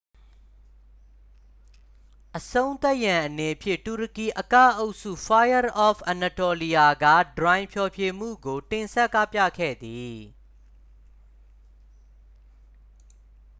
"အဆုံးသတ်ရန်အနေဖြင့် တူရကီအကအုပ်စု fire of anatolia က "ထရိုင်" ဖျော်ဖြေမှုကို တင်ဆက်ကပြခဲ့သည်။